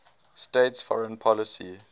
states foreign policy